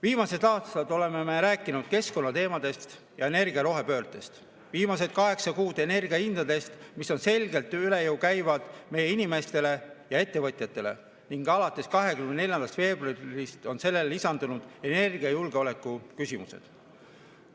Viimased aastad oleme me rääkinud keskkonnateemadest ja energia rohepöördest, viimased kaheksa kuud energiahindadest, mis käivad meie inimestele ja ettevõtjatele selgelt üle jõu, ning alates 24. veebruarist on sellele lisandunud energiajulgeoleku küsimused.